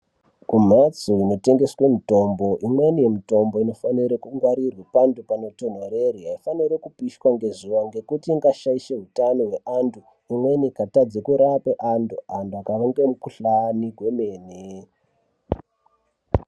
Kumhatso inotengeswe mitombo, imweni yemitombo inofanire kungwarirwa pantu panotonhorere, haifaniri kupishwa ngezuwa ngekuti ingashaishe utano hweantu ikatadze kurapa antu, antu akaange mikuhlani kwemene.